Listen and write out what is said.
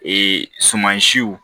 Ee sumansiw